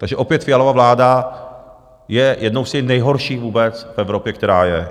Takže opět Fialova vláda je jednou z těch nejhorších vůbec v Evropě, která je.